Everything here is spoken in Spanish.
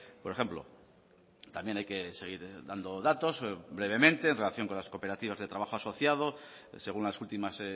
por ejemplo también hay que seguir dando datos brevemente en relación con las cooperativas de trabajo asociado según las últimas